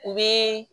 U bɛ